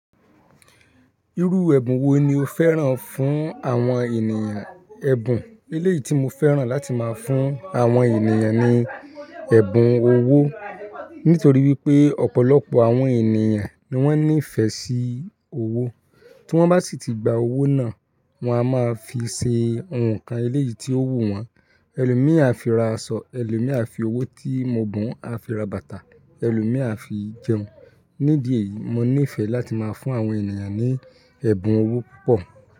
Irú ẹ̀bùn wo ni o fẹ́ràn fún àwọn ènìyàn? Ẹ̀bùn eléyìí tí mo fẹ́ràn láti máa fún àwọn ènìyàn ni ẹ̀bùn owó, nítorí wípé ọ̀pọ̀lọpọ̀ àwọn ènìyàn ni wón ní ìfẹ́ sí owó. Tí wón bá sì ti gba owó náà, wọ́n á máa fi ṣe ohùn kan eléyìí tí ó wù wọ́n. Ẹlòmíì á fi ra aṣọ, ẹlòmíì á fi owó tí mo bùn á fi ra bàtà, ẹlòmíì á fi jẹun. Nídìí èyí, mo ní ìfẹ́ láti máa fún àwọn ènìyàn ní ẹ̀bùn owó púpọ̀